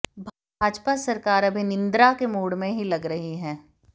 भाजपा सरकार अभी निद्रा के मूड में ही लग रही है